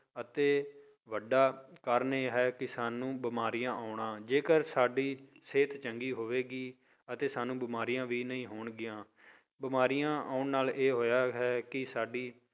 ਅਤੇ ਵੱਡਾ ਕਾਰਨ ਇਹ ਹੈ ਕਿ ਸਾਨੂੰ ਬਿਮਾਰੀਆਂ ਆਉਣਾ ਜੇਕਰ ਸਾਡੀ ਸਿਹਤ ਚੰਗੀ ਹੋਵੇਗੀ ਅਤੇ ਸਾਨੂੰ ਬਿਮਾਰੀਆਂ ਵੀ ਨਹੀਂ ਹੋਣਗੀਆਂ, ਬਿਮਾਰੀਆਂ ਆਉਣ ਨਾਲ ਇਹ ਹੋਇਆ ਹੈ ਕਿ ਸਾਡੀ